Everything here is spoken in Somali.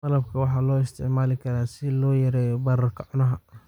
Malabka waxaa loo isticmaali karaa si loo yareeyo bararka cunaha.